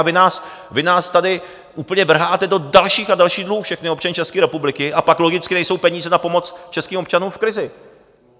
A vy nás tady úplně vrháte do dalších a dalších dluhů, všechny občany České republiky, a pak logicky nejsou peníze na pomoc českým občanům v krizi.